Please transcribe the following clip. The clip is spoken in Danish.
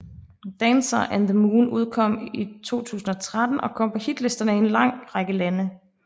Dancer and the Moon udkom i 2013 og kom på hitlisterne i en lang række lande